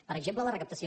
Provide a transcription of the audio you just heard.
per exemple la recaptació